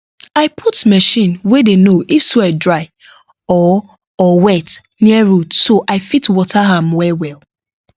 i put machine wey dey know if soil dry or or wet near root so i fit water am wellwell